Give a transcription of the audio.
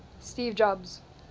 steve jobs